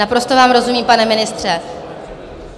Naprosto vám rozumím, pane ministře.